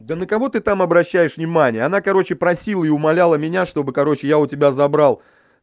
да на кого ты там обращаешь внимания она короче просила и умоляла меня чтобы короче я у тебя забрал